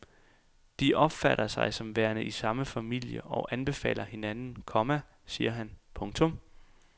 De opfatter sig som værende i samme familie og anbefaler hinanden, komma siger han. punktum